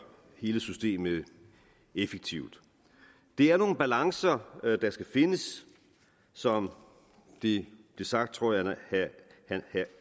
hele systemet effektivt det er nogle balancer der skal findes som det blev sagt tror jeg